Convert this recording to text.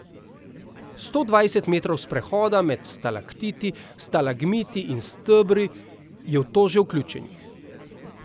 Sto dvajset metrov sprehoda med stalaktiti, stalagmiti in stebri je v to že vključenih.